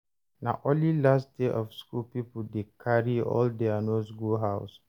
Na only last day of school people dey carry all their notes go house.